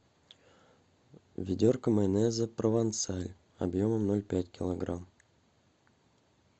ведерко майонеза провансаль объемом ноль пять килограмм